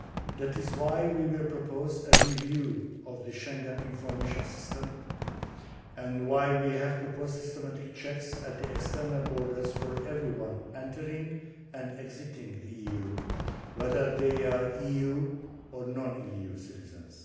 That is why we will propose a review of the Schengen Information System and why we have proposed systematic checks at the external borders for everyone entering and exiting the EU whether they are EU or non EU citizens.